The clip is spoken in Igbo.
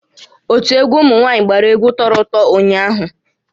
Ótú egwu ụmụnwaanyị gbàrà egwu tọrọ ụtọ ụnyaahụ